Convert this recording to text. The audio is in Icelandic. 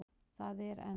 Það er enn.